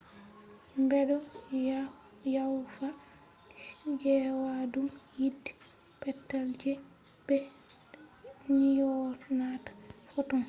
bedo yawfa gewaadum yiite petel je be nyonata ‘’photon’’